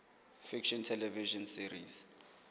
fiction television series